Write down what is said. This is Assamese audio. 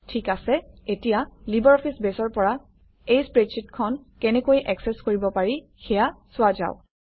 ঠিক আছে এতিয়া লিবাৰঅফিছ বেছৰ পৰা এই স্প্ৰেডশ্বিটখন কেনেকৈ একচেচ কৰিব পাৰি সেয়া চোৱা যাওক